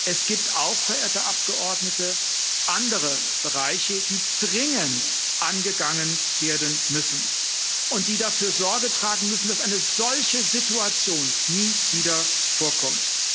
Es gibt auch, verehrte Abgeordnete, andere Bereiche, die dringend angegangen werden müssen und die dafür Sorge tragen müssen, dass eine solche Situation nie wieder vorkommt.